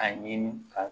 A ɲini ka